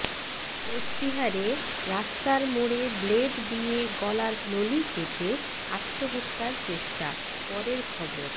কোচবিহারে রাস্তার মোড়ে ব্লেড দিয়ে গলার নলি কেটে আত্মহত্যার চেষ্টা পরের খবর